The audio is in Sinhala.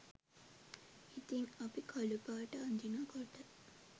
ඉතිං අපි කළු පාට අඳිනකොට